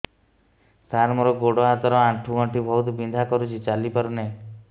ସାର ମୋର ଗୋଡ ହାତ ର ଆଣ୍ଠୁ ଗଣ୍ଠି ବହୁତ ବିନ୍ଧା କରୁଛି ଚାଲି ପାରୁନାହିଁ